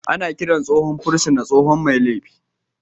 Ana kiran tsohon fursuna tsohon mai laifi